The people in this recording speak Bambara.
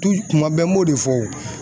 tuma bɛɛ n b'o de fɔ.